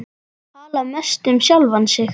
Tala mest um sjálfan sig.